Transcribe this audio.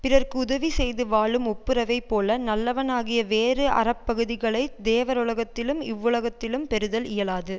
பிறர்க்கு உதவி செய்து வாழும் ஒப்புரவைப் போல நல்லனவாகிய வேறு அறப்பகுதிகளைத் தேவருலகத்திலும் இவ்வுலகத்திலும் பெறுதல் இயலாது